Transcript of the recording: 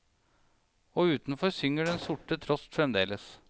Og utenfor synger den sorte trost fremdeles.